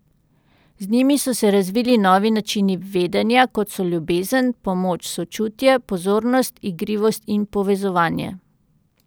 Z njimi so se razvili novi načini vedenja, kot so ljubezen, pomoč, sočutje, pozornost, igrivost in povezovanje.